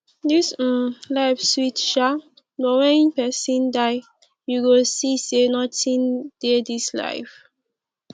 dis um life sweet shaa but wen pesin die you go see sey notin dey dis life